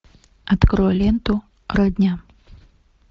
открой ленту родня